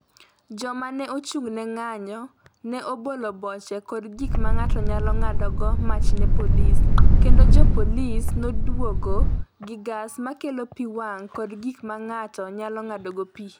Joma ne ochung’ ne ng’anjo ne obolo boche kod gik ma ng’ato nyalo ng’adogo mach ne jopolisi, kendo jopolisi nodwokogi gi gas ma kelo pi wang’ kod gik ma ng’ato nyalo ng’adogo pi.